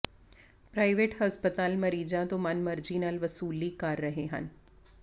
private ਹਸਪਤਾਲ ਮਰੀਜ਼ਾਂ ਤੋਂ ਮਨਮਰਜ਼ੀ ਨਾਲ ਵਸੂਲੀ ਕਰ ਰਹੇ ਹਨ